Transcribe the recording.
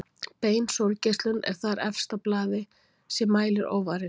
Bein sólgeislun er þar efst á blaði sé mælir óvarinn.